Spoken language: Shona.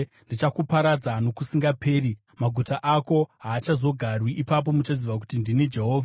Ndichakuparadza nokusingaperi, maguta ako haachazogarwi. Ipapo muchaziva kuti ndini Jehovha.